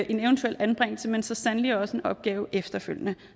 en eventuel anbringelse men så sandelig også en opgave efterfølgende